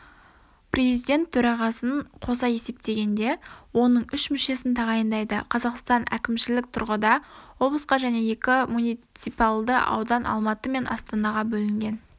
президент төрағасын қоса есептегенде оның үш мүшесін тағайындайды қазақстан кімшілік тұрғыда облысқа және екі муниципалды аудан-алматы мен астанаға бөлінген